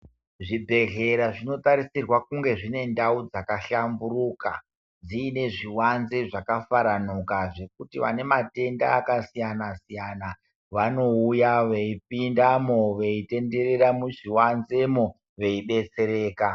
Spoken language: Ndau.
Zvi bhedhlera zvino tarisirwa kunge zvine ndau dzaka hlamburuka dziine zviwanze zvaka faranuka zvekuti vane matenda aka siyana siyana vanouya veyi pindamo veyi tendera muzvi wanzemo veyi detsereka.